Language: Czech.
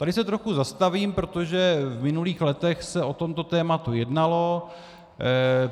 Tady se trochu zastavím, protože v minulých letech se o tomto tématu jednalo.